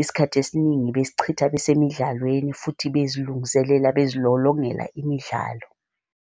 isikhathi esiningi besichitha besemidlalweni futhi bezilungiselela, bezilolongela imidlalo.